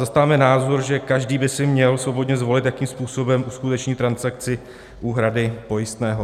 Zastáváme názor, že každý by si měl svobodně zvolit, jakým způsobem uskuteční transakci úhrady pojistného.